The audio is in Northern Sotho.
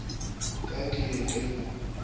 ka ke ye ke go